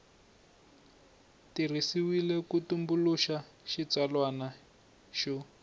tirhisiwile ku tumbuluxa xitsalwana xo